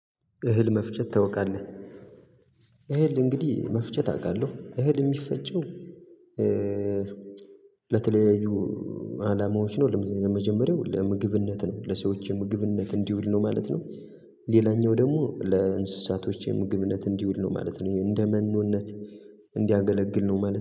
እህል መፍጨት ታውቃለህ? እህል እንግዲህ መፍጨት አውቃለሁ እህል የሚፈጨው ለተለያዩ አላማዎች ነው። ለመጀመሪያው ለምግብነት ነው ለሰዎች ምግብነት እንዲውል ነው ማለት ነው። ሌላኛው ደግሞ ለእንስሳቶች ምግብነት እንዲውል ነው ማለት ነው እንደመኖነት እንዲያገለግል ነው ማለት ነው